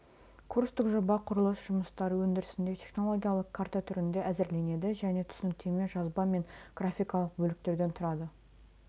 курстық жоба құрылыс жұмыстары өндірісінде технологиялық карта түрінде әзірленеді және түсініктеме жазба мен графикалық бөліктен тұрады